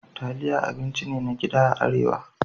Taliya abinci ne na gida a Arewa.